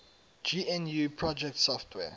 gnu project software